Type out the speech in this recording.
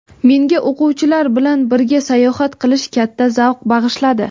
Menga o‘quvchilar bilan birga sayohat qilish katta zavq bag‘ishladi.